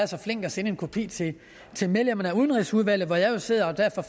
så flinke at sende en kopi til medlemmerne af udenrigsudvalget hvor jeg jo sidder derfor